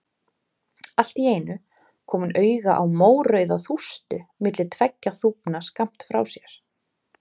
Allt í einu kom hún auga á mórauða þústu milli tveggja þúfna skammt frá sér.